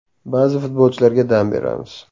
Ba’zi futbolchilarga dam beramiz.